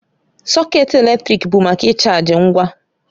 Sọkét eletrik bụ maka ịchaji ngwa